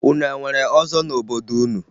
Unu e nwere ọzọ n'obodo unu?